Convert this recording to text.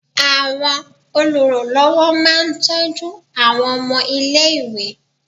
Àwọn oluranlowo máa ń tọ́jú àwọn ọmọ ilé-ìwé.